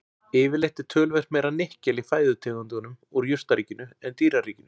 Yfirleitt er töluvert meira nikkel í fæðutegundum úr jurtaríkinu en dýraríkinu.